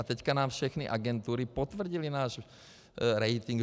A teď nám všechny agentury potvrdily náš rating.